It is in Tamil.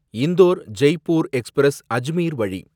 இந்தோர் ஜெய்ப்பூர் எக்ஸ்பிரஸ் அஜ்மீர் வழி